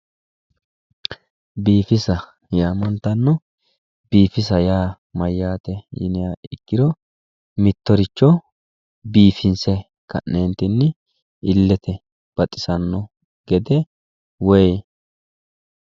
Biifisa yaamantanno biifisa yaa mayyaate yiniha ikkiro mittoricho biifinse ka'neentinni illete baxisanno gede